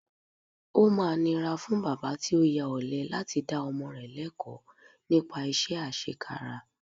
Ó máa nira fún bàbá tí ó ya ọ̀lẹ láti dá ọmọ rẹ lẹ́kọ̀ọ̀ nípa iṣẹ́ àṣekára